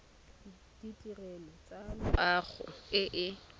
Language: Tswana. ditirelo tsa loago e e